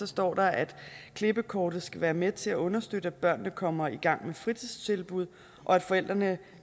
står der at klippekortet skal være med til at understøtte at børnene kommer i gang med fritidstilbud og at forældrene